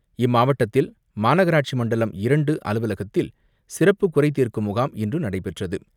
இம்மாவட்டத்தில் மாநகராட்சி மண்டலம் இரண்டு அலுவலகத்தில் சிறப்பு குறைதீர்க்கும் முகாம் இன்று நடைபெற்றது.